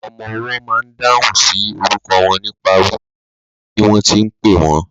Ọmọwọ́ ma n dáhùn sí orúkọ wọn nípa wíwo ibi tí wọ́n ti pẹ́ wọ́n.